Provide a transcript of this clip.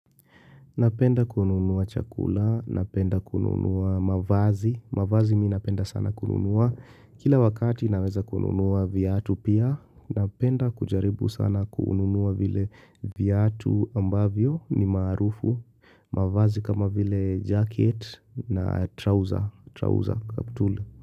Napenda kununua chakula, napenda kununua mavazi, mavazi mimi napenda sana kununua. Kila wakati naweza kununua viatu pia, napenda kujaribu sana kununua vile viatu ambavyo ni maarufu, mavazi kama vile jacket na trouser.